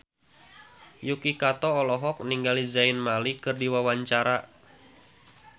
Yuki Kato olohok ningali Zayn Malik keur diwawancara